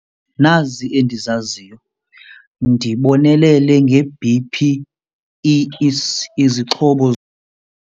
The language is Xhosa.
Nazi endizaziyo, ndibonelele nge-B_P, izixhobo.